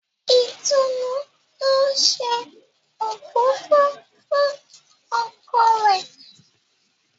Itunu ń òfófó fún ọkọ rẹ.